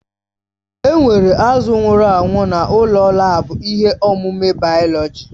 Enwere azụ̀ nwụrụ anwụ n'ụlọ laabu ihe ọmụmụ bayoloji.